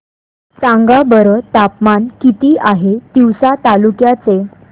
सांगा बरं तापमान किती आहे तिवसा तालुक्या चे